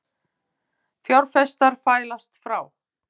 Fjárfestar fælast frá